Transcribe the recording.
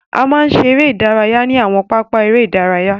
A máa ń ṣe eré ìdárayá ní àwọn pápá eré ìdárayá.